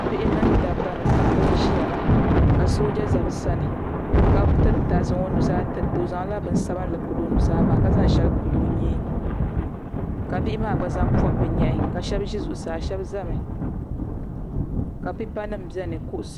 Bihi mini dabba ni paɣiba n-ʒiya ka sooja za bɛ sani ka zaŋ o nuzaa tirita o zaŋla bini sabinli piri o nuzaa maa ka zaŋ shɛli pili o nyee ka bihi maa gba zaŋ pɔbi bɛ nyɛhi shɛba ʒi zuɣusaa shɛba zami ka pipanima beni.